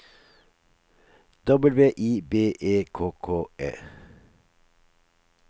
W I B E K K E